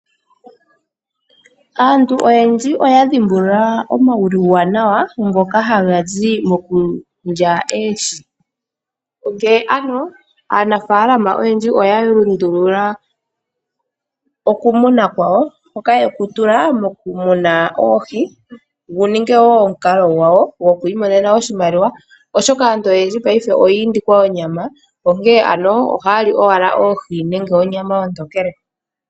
Aantu oyendji oya dhimbulula omauwanawa ngoka haga zi moku lya oohi. Onkene aanafaalama oyendji oya lundulula okumuna kwawo hoka yeku tula mokumuna oohi gu ninge omukalo gwawo goku imonena oshimaliwa, oshoka aantu oyendji monena oyiindikwa onyama ohaya li owala oohi nenge onyama ontokele.